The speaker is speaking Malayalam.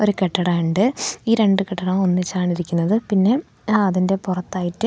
ഒരു കെട്ടിടമുണ്ട് ഈ രണ്ട് കെട്ടിടവും ഒന്നിച്ചാണ് ഇരിക്കുന്നത് പിന്നെ അതിന്റെ പുറത്തായിട്ട്--